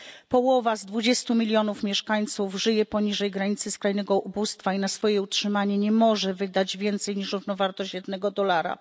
Połowa z 20 mln mieszkańców żyje poniżej granicy skrajnego ubóstwa i na swoje utrzymanie nie może wydać więcej niż równowartość jednego dolara.